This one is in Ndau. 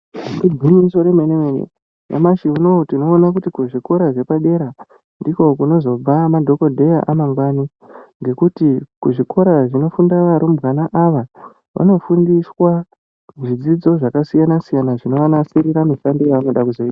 Igwinyiso remenemene nyamashi uno tinoona kuti kuzvikora zvepadera ndiko kunozobva madhogodheya amangwani ngekuti kuzvikora zvinofunda varumbwana ava vanofundiswa zvidzidzo zvakasiyana siyana zvinovanasirira mishando yevanode kuzoita.